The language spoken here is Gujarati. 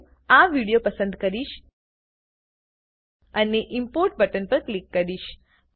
હું આ વિડીયો પસંદ કરીશ અને ઇમ્પોર્ટ બટન પર ક્લિક કરીશ